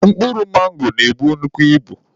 Mkpụrụ mango na-ebu nnukwu ibu.